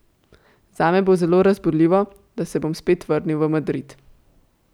Zame bo zelo razburljivo, da se bom spet vrnil v Madrid.